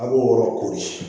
A' b'o yɔrɔ kori